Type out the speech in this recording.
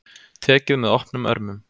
Tekið með opnum örmum